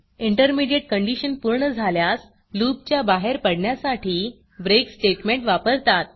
intermediate condition पूर्ण झाल्यास loopलूप च्या बाहेर पडण्यासाठी breakब्रेक स्टेटमेंट वापरतात